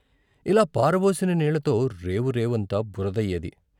ఇలా పారబోసిన నీళ్ళతో రేవు రేవంతా బురదయ్యేది.